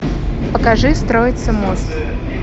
покажи строится мост